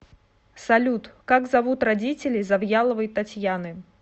салют как зовут родителей завьяловой татьяны